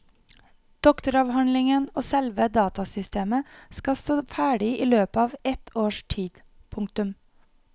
Doktoravhandlingen og selve datasystemet skal stå ferdig i løpet av et års tid. punktum